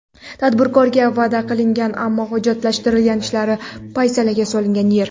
Tadbirkorga va’da qilingan, ammo hujjatlashtirish ishlari paysalga solingan yer.